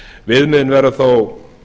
viðmiðin verða þó